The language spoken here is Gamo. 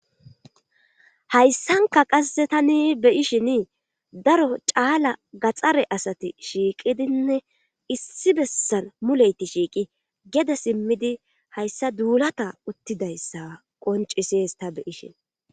Hayssanka qasse tani beyishin daro caala gaxxare asati shiiqidinne issi bessan muleyti shiiqi gede simmidi hayssa duulata uttidayssa qoncises ta beyishin